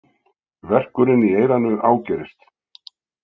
Verkurinn í eyranu ágerist.